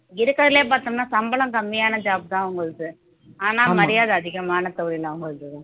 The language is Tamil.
இருக்கிறதிலேயே பார்த்தோம்ன்னா சம்பளம் கம்மியான job தான் அவங்களுது ஆனா மரியாதை அதிகமான தொழில் அவங்களுது